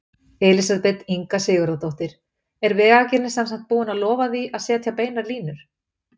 Elísabet Inga Sigurðardóttir: Er Vegagerðin sem sagt búin að lofa því að setja beinar línur?